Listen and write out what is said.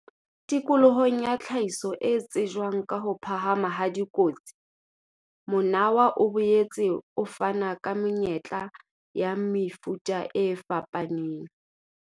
Tikolohong ya tlhahiso e tsejwang ka ho phahama ha dikotsi, monawa o boetse o fana ka monyetla wa mefuta e fapaneng.